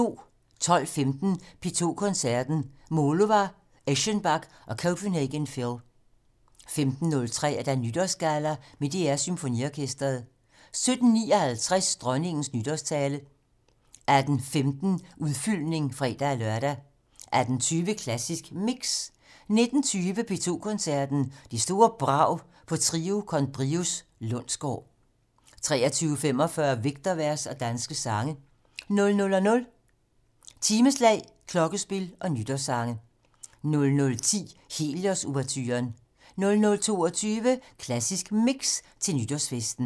12:15: P2 Koncerten - Mullova, Eschenbach og Copenhagen Phil 15:03: Nytårsgalla med DR SymfoniOrkestret 17:59: Dronningens nytårstale 18:15: Udfyldning (fre-lør) 18:20: Klassisk Mix 19:20: P2 Koncerten - Det store brag på Trio con Brios Lundsgaard 23:45: Vægtervers og danske sange 00:00: Timeslag, klokkespil og nytårssange 00:10: Helios-ouverturen 00:22: Klassisk Mix - Til nytårsfesten